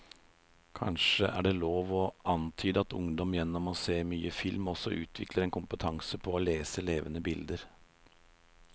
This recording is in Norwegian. Kanskje er det lov å antyde at ungdom gjennom å se mye film også utvikler en kompetanse på å lese levende bilder.